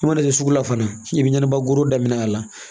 I mana kɛ sugu la fana i bɛ ɲɛnɛbɔ goro daminɛ a la